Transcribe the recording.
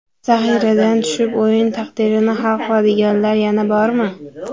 Zaxiradan tushib o‘yin taqdirini hal qiladiganlar yana bormi?